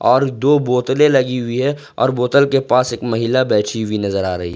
और दो बोतले लगी हुई है और बोतल के पास एक महिला बैठी हुई नजर आ रही--